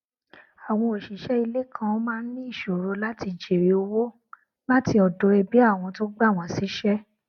àwọn òṣìṣẹ ilé kan maá n ní ìṣoro láti jèrè ọwọ láti ọdọ ẹbí àwọn tó gbà wọn síṣẹ